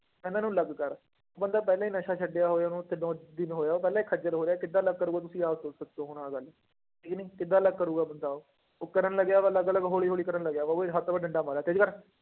ਇਹਨਾਂ ਨੂੰ ਅਲੱਗ ਕਰ ਬੰਦਾ ਪਹਿਲਾਂ ਹੀ ਨਸ਼ਾ ਛੱਡਿਆ ਹੋਏ, ਉਹਨੂੰ ਤਿੰਨੋ ਦਿਨ ਹੋਏ ਆ ਉਹ ਪਹਿਲਾਂ ਹੀ ਖੱਝਲ ਹੋ ਰਿਹਾ ਕਿੱਦਾਂ ਅਲੱਗ ਕਰੇਗਾ ਤੁਸੀਂ ਆਪ ਸ ਸੋਚੋ ਹੁਣ ਆਹ ਗੱਲ, ਹੈ ਕਿ ਨਹੀਂ ਕਿੱਦਾਂ ਅਲੱਗ ਕਰੇਗਾ ਬੰਦਾ ਉਹ, ਉਹ ਕਰਨ ਲੱਗਿਆ ਵਾ ਅਲੱਗ ਅਲੱਗ ਹੌਲੀ ਹੌਲੀ ਕਰਨ ਲੱਗਿਆ ਵਾ, ਉਹ ਵੀ ਡੰਡਾ ਮਾਰਿਆ ਤੇਜ਼ੀ ਕਰ